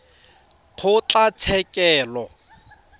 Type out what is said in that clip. kgotlatshekelo